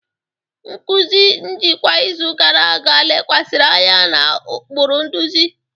Nkụzi njikwa izu gara aga lekwasịrị anya na ụkpụrụ nduzi.